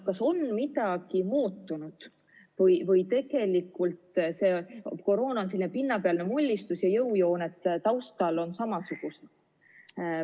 Kas on midagi muutunud või on koroona selline pinnapealne mullistus ja jõujooned taustal on samasugused?